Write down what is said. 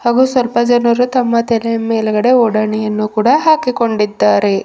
ಹಾಗೂ ಸ್ವಲ್ಪ ಜನರು ತಮ್ಮ ತಲೆಯ ಮೇಲೆ ಒಡಣಿ ಯನ್ನು ಕೂಡ ಹಾಕಿಕೊಂಡಿದ್ದಾರೆ.